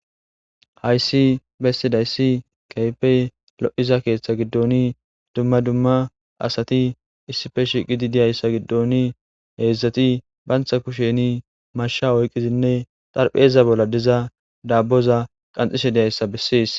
hayssi bessidayssi keehipe lo7iza keeththa giddoni dumma dumma asati issife shiqidi diyayssa giddoni heedzdzati bantha kusheni masha oyqizinne darpheeza bolla diza daabboza qanxishe diyayssa bessees